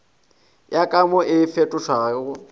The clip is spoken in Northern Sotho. ya ka mo e fetotšwego